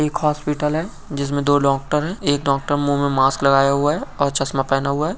एक हॉस्पिटल है जिसमें दो डॉक्टर है एक डॉक्टर मुंह में मास्क लगाया हुआ है और चश्मा पहना हुआ है।